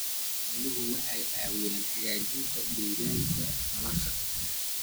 Xooluhu waxay caawiyaan hagaajinta deegaanka nolosha.